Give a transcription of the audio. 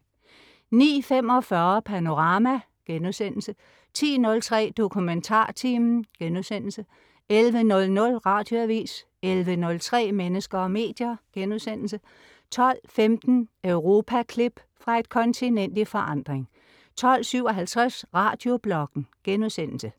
09.45 Panorama* 10.03 DokumentarTimen* 11.00 Radioavis 11.03 Mennesker og medier* 12.15 Europaklip. Fra et kontinent i forandring 12.57 Radiobloggen*